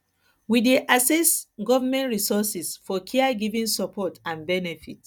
we dey access government resources for care giving support and benefit